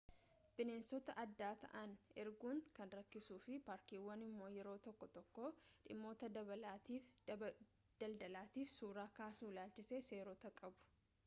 bineensota adda ta'an arguun kan rakkisuu fi paarkiiwwan immoo yeroo tokko tokko dhimmoota daldalaatiif suuraa kaasuu ilaalchisee seerota qabu